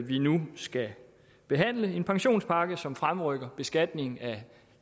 vi nu skal behandle en pensionspakke som fremrykker beskatningen af